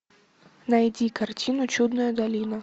найди картину чудная долина